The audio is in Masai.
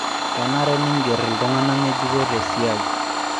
Kenare ningerr iltung'ana ng'ejuko tesiai.